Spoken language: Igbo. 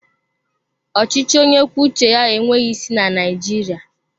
Ọchịchị onye kwuo uche ya enweghị isi na Naijiriia